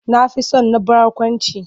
Na fi son na barkwanci.